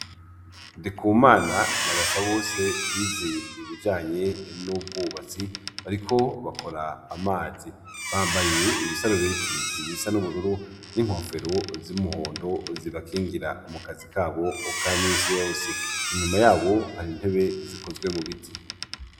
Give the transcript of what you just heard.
Ndikumana na basa bose bize ibijanye n'ubwubatsi, ariko bakora amazi bambaye ibisarubiti ibisa n'ubururu n'inkofero z'imuhondo zibakingira mukazi kabo ukamisiy ose inyuma yabo hari intebe zikozwe mu biti.